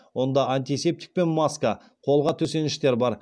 онда антисептик пен маска қолғап төсеніштер бар